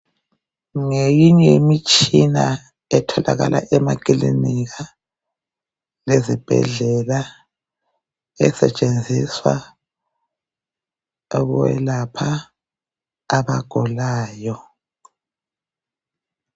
Ngeyinye imitshina etholakala emakilinika lezibhedlela esetshenziswa ukwelapha abagulayo